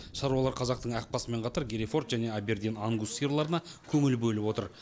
шаруалар қазақтың ақбасымен қатар герефорд және абердин ангус сиырларына көңіл бөліп отыр